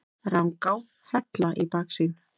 Rangá, Hella í baksýn.